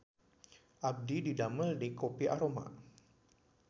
Abdi didamel di Kopi Aroma